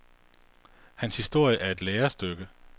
Hans historie er et lærestykke.